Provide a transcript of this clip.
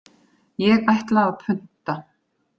Ég ætla að punta.